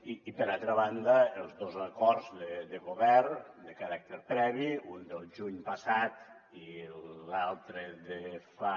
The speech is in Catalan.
i per altra banda els dos acords de govern de caràcter previ un del juny passat i l’altre de fa